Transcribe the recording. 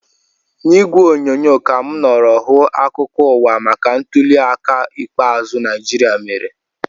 N'ìgwè onyonyo ka mụ nọrọ hụ akụkọ ụwa maka ntuli aka ikpeazụ Naijiria mere